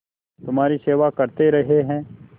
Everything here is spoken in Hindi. तुम्हारी सेवा करते रहे हैं